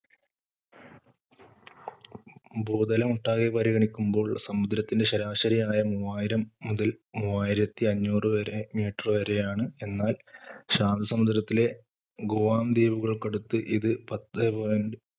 ഭൂതലമൊട്ടാകെ പരിഗണിക്കുമ്പോൾ സമുദ്രത്തിന്റെ ശരാശരി ആയം മൂവായിരം മുതല്‍ മൂവായിരത്തി അഞ്ഞൂറ് വരെ meter വരെയാണ്. എന്നാൽ ശാന്തസമുദ്രത്തിലെ ഗുവാം ദ്വീപുകൾക്കടുത്ത് ഇത് പത്തേ point